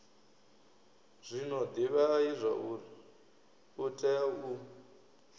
zwino divhai zwauri utea u